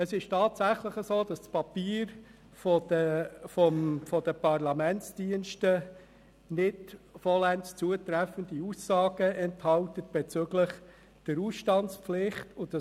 Es ist tatsächlich so, dass das Papier der Parlamentsdienste nicht vollends zutreffende Aussagen bezüglich der Ausstandspflicht enthält.